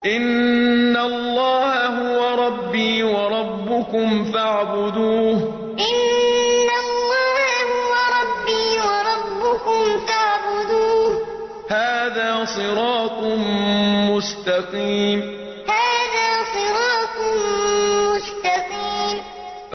إِنَّ اللَّهَ هُوَ رَبِّي وَرَبُّكُمْ فَاعْبُدُوهُ ۚ هَٰذَا صِرَاطٌ مُّسْتَقِيمٌ إِنَّ اللَّهَ هُوَ رَبِّي وَرَبُّكُمْ فَاعْبُدُوهُ ۚ هَٰذَا صِرَاطٌ مُّسْتَقِيمٌ